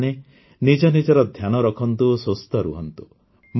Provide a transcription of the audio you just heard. ଆପଣମାନେ ନିଜ ନିଜର ଧ୍ୟାନ ରଖନ୍ତୁ ସୁସ୍ଥ ରୁହନ୍ତୁ